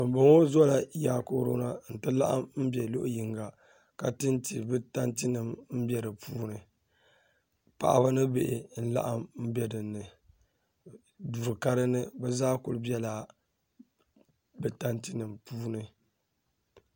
Binboŋo Zola yaakooro na n ti laɣim bɛ luɣu yinga ka tinti bi tanti paɣaba ni bihi n bɛ dinni duu ka dinni bi zaa kuli bɛla bi tanti nim puuni